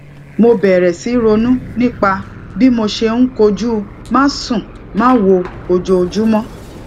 mo bèrè sí ronú nípa bí mo ṣe ń kojú másùnmáwo ojoojúmó